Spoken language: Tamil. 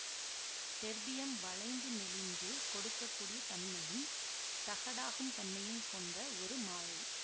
டெர்பியம் வளைந்து நெளிந்து கொடுக்ககூடிய தன்மையும் தகடாகும் தன்மையும் கொண்ட ஒரு மாழை